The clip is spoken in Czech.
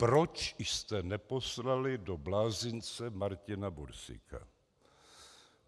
Proč jste neposlali do blázince Martina Bursíka?